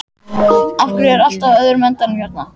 Af hverju er allt á öðrum endanum hérna?